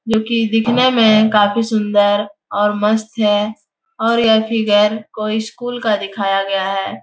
क्यूंकि दिखने में काफी सुंदर और मस्त है और यह फिगर कोई स्कूल का दिखाया गया है ।